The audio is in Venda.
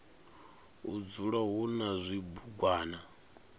u dzula hu na zwibugwana